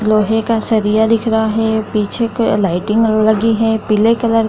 लोहे का सरिया दिख रहा है पीछे का लाइटिंग लगी है पीले कलर --